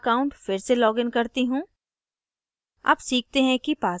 मैं अपना account फिर से लॉगिन करती हूँ